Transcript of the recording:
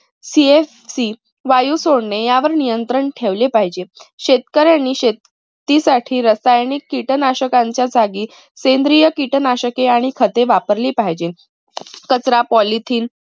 csc वायू सोडणे यावर नियंत्रण ठेवले पाहिजे. शेतकऱ्यांनी शेतीसाठी रसायनिक किटनाशकांच्या जागी सेंद्रिय किटनाशके आणि खते वापरली पाहिजे. कचरा polythene